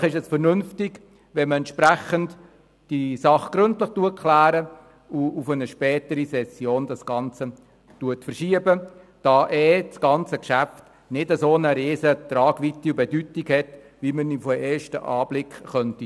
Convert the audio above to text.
Wahrscheinlich ist es vernünftig, diese Sache gründlich abzuklären und auf eine spätere Session zu verschieben, da das Geschäft nicht eine derart grosse Tragweite und Bedeutung hat, wie man auf den ersten Blick denken könnte.